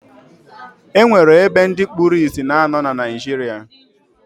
E nwere ebe ndị kpuru isi na-anọ na Naịjirịa